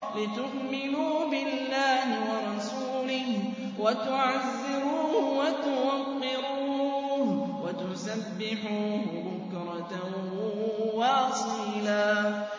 لِّتُؤْمِنُوا بِاللَّهِ وَرَسُولِهِ وَتُعَزِّرُوهُ وَتُوَقِّرُوهُ وَتُسَبِّحُوهُ بُكْرَةً وَأَصِيلًا